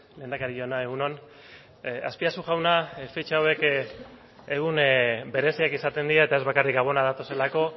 lehendakari jauna egun on azpiazu jauna fetxa hauek egun bereziak izaten dira eta ez bakarrik gabonak datozelako